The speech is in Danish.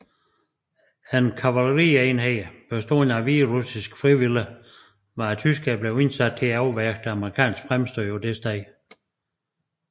En kavalerienhed bestående af hviderussiske frivillige var af tyskerne blevet indsat for at afværge det amerikanske fremstød på dette sted